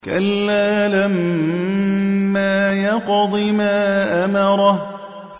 كَلَّا لَمَّا يَقْضِ مَا أَمَرَهُ